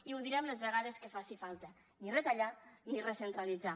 i ho direm les vegades que faci falta ni retallar ni recentralitzar